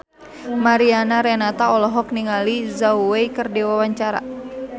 Mariana Renata olohok ningali Zhao Wei keur diwawancara